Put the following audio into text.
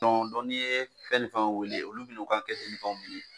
n'i ye fɛn ni fɛn wele olu bi n'u ka k'ikan.